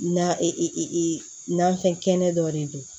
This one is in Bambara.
Na i i i i nafɛn kɛnɛ dɔ de don